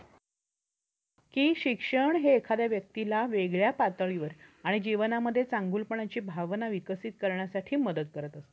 कि शिक्षण हे एखाद्या व्यक्तीला वेगळ्या पातळीवर आणि जीवनामध्ये चांगुलपणाची भावना विकसित करण्यासाठी मदत करत असत.